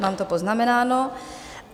Mám to poznamenáno.